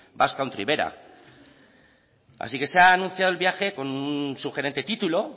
behera así que se ha anunciado el viaje con un sugerente título